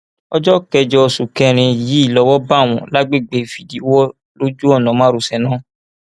ọjọ kẹjọ oṣù kẹrin yìí lọwọ bá wọn lágbègbè fìdíwọ lójú ọnà márosẹ náà